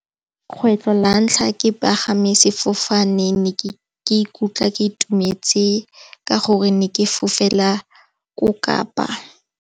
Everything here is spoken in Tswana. Kgwetlho la ntlha ke sefofane. Ke ne ke ikutlwa ke itumetse ka gore ne ke fofela ko Kapa.